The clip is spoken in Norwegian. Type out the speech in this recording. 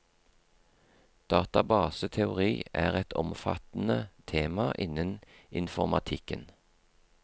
Databaseteori er et omfattende tema innen informatikken.